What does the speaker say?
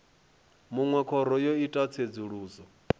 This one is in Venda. munwe khoro yo ita tsedzuluso